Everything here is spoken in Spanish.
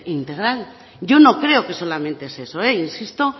integral yo no creo que solamente es eso insisto